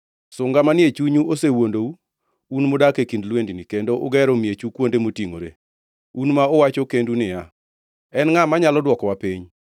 Sunga manie chunyu osewuondou, un mudak e kind lwendni, kendo ugero miechu kuonde motingʼore, un ma uwacho kendu niya, ‘En ngʼa manyalo dwokowa piny?’